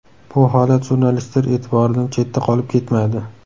Bu holat jurnalistlar e’tiboridan chetda qolib ketmadi.